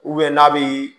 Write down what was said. n'a bi